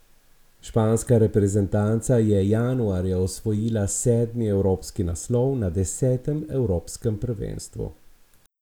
Španska reprezentanca je januarja osvojila sedmi evropski naslov na desetem evropskem prvenstvu.